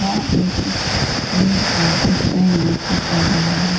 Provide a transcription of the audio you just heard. और एक पे नृत्य कर रहा है।